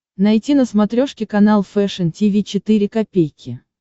найти на смотрешке канал фэшн ти ви четыре ка